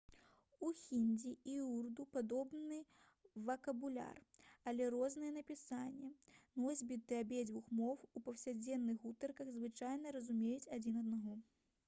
у хіндзі і ўрду падобны вакабуляр але рознае напісанне носьбіты абедзвюх моў у паўсядзённых гутарках звычайна разумеюць адзін аднаго